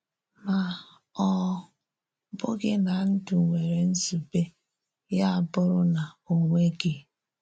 Ma ọ́ bụ́ghị̀ na ndú nwèrè nzùbè ya abụrụ̀ na ọ̀ nweghị̀.